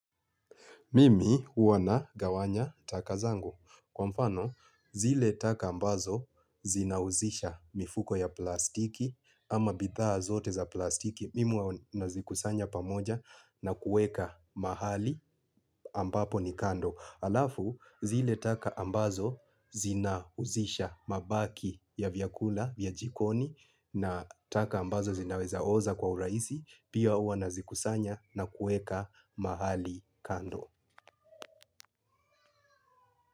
Mimi ua nagawanya taka zangu. Kwa mfano, zile taka ambazo zinauzisha mifuko ya plastiki ama bithaa zote za plastiki. Mimi ua nazikusanya pamoja na kueka mahali ambapo ni kando. Alafu, zile taka ambazo zinauzisha mabaki ya vyakula, vya jikoni, na taka ambazo zinaweza oza kwa uraisi, pia ua nazikusanya na kueka mahali kando.